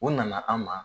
U nana an ma